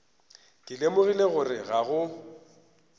ke lemogile gore ga go